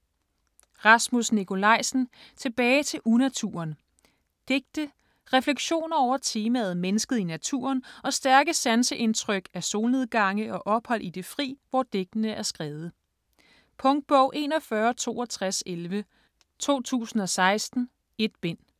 Nikolajsen, Rasmus: Tilbage til unaturen Digte. Refleksioner over temaet mennesket i naturen og stærke sanseindtryk af solnedgange og ophold i det fri, hvor digtene er skrevet. Punktbog 416211 2016. 1 bind.